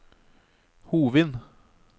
Hovin